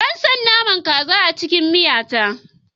Ba na son naman kaza a cikin miya ta